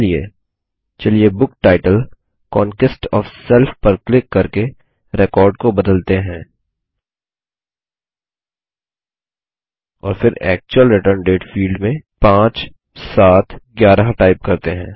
इसके लिए चलिए book title conquest O F self पर क्लिक करके रिकॉर्ड को बदलते हैं और फिर एक्चुअल रिटर्न डेट फील्ड में 5711 टाइप करते हैं